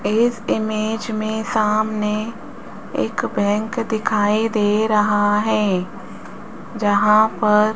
इस इमेज में सामने एक बैंक दिखाई दे रहा है जहां पर --